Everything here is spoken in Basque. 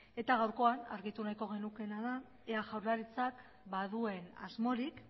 gaurkoan argitu nahiko genukeena da ea jaurlaritzak baduen asmorik